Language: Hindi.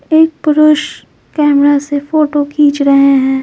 एक पुरुष कैमरा से फोटो खींच रहे हैं।